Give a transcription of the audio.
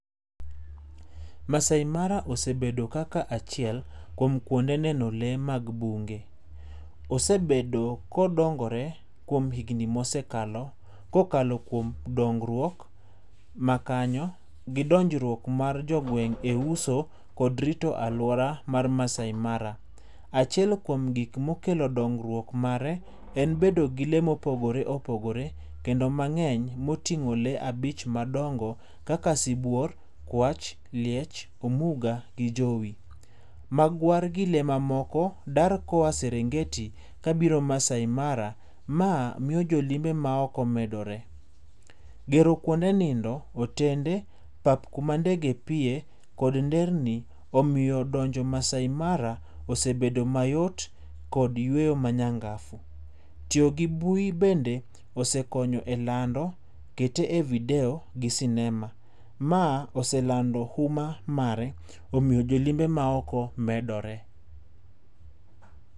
Maasai Mara osebedo kaka achiel kuom kuonde neno lee mag bunge. Osebedo ka odongore kuom higni mosekalo kokalo kuom dongruok ma kanyo gi donjruok mar jogweng e uso kod rito aluora mar Maasai Mara. Achiel kuom gikma okelo dongruok mare en bedo gi lee ma opogore opogore kendo mangeny motingo lee abich madongo kaka sibuor, kwach, liech, omuga gi jowi. Magwar gi lee mamoko dar koa Serengeti kadhi Maasai Mara mae miyo jolimbe maoko medore. Gero kuonde nindo, otende, pap kuma ndege piye kod nderni omiyo donjo Maasai Mara osebedo mayot kod yweyo manyangafu .Tiyo gi bui bende osekonyo e lando kete e video[ccs] gi sinema, mae osemedo huma mare omiyo jolimbe maoko medore